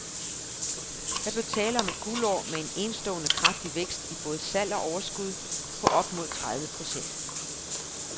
Der blev tale om et guldår med en enestående kraftig vækst i både salg og overskud på op mod tredive procent.